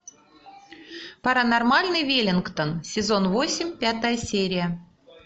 паранормальный веллингтон сезон восемь пятая серия